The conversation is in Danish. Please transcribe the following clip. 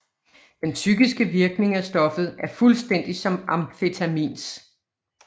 Den psykiske virkning af stoffet er fuldstændig som amfetamins